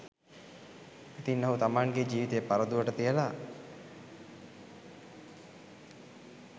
ඉතින් ඔහු තමන්ගේ ජීවිතය පරදුවට තියලා